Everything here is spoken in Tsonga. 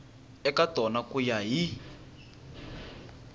eka tona ku ya hi